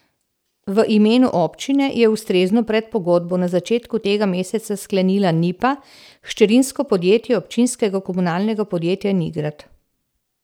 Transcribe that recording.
V imenu občine je ustrezno predpogodbo na začetku tega meseca sklenila Nipa, hčerinsko podjetje občinskega komunalnega podjetja Nigrad.